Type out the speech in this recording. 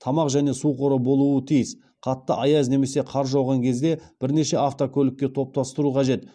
тамақ және су қоры болуы тиіс қатты аяз немесе қар жауған кезде бірнеше автокөлікке топтастыру қажет